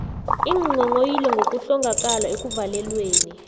iinghonghoyilo ngokuhlongakala ekuvalelweni